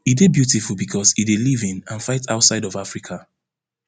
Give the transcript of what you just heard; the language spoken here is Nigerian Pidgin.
e dey beautiful becos e dey live in and fight outside of africa